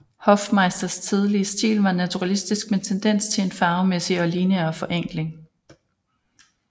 Hofmeisters tidlige stil var naturalistisk med tendens til en farvemæssig og lineær forenkling